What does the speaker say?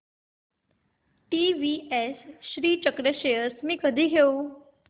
TVS Srichakra shares मी कधी घेऊ